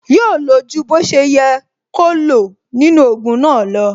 Yóò lo ju bó ṣe yẹ kó lo nínú ogun náà lo